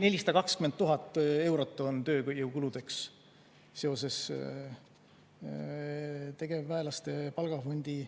420 000 eurot on tööjõukuludeks seoses tegevväelaste palgafondi